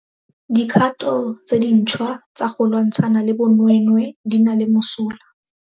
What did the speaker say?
Dikgato tse dintšhwa tsa go lwantshana le bonweenwee di nna le mosola.